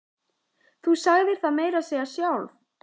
Þú sagðir það meira að segja sjálf!